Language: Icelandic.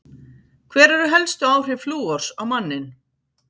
Hver eru helstu áhrif flúors á manninn?